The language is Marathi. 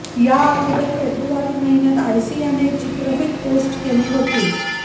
या अगोदर फेबुवारी महिन्यात आसियाने एक चित्रफित पोस्ट केली होती